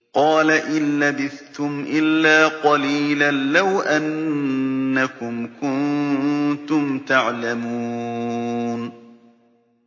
قَالَ إِن لَّبِثْتُمْ إِلَّا قَلِيلًا ۖ لَّوْ أَنَّكُمْ كُنتُمْ تَعْلَمُونَ